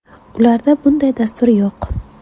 Ularda bunday dastur yo‘q.